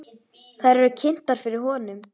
Þær eru kynntar fyrir honum.